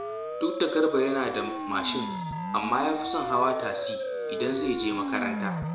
Duk da Garba yana da mashin, amma ya fi son hawa tasi idan zai je makaranta